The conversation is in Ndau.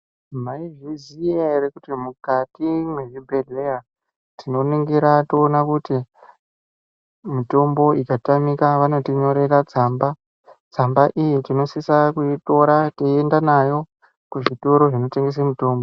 Maizviziya here kuti mukati mwezvibhedhleya, tinoningira toona kuti mitombo ikatamika vanotinyorera tsamba. Tsamba iyi tinosisa kuitora teienda nayo kuzvitoro zvinotengese mitombo.